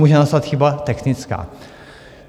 Může nastat chyba technická.